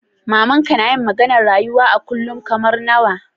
Mama'n ka nayi maganar rayuwa a kullum kamar nawa?